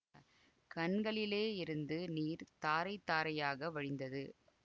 கண்களிலே இருந்து நீர் தாரை தாரையாக வழிந்தது